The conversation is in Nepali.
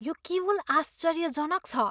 यो केवल आश्चर्यजनक छ!